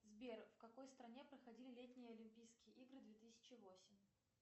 сбер в какой стране проходили летние олимпийские игры две тысячи восемь